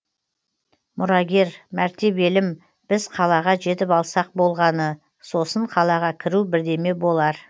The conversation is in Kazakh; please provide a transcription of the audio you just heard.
мұрагер мәртебелім біз қалаға жетіп алсақ болғаны сосын қалаға кіру бірдеме болар